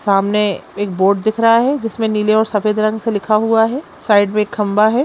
सामने एक बोर्ड दिख रहा है जिसमें नीले और सफेद रंग से लिखा हुआ है। साइड में एक खम्बा है।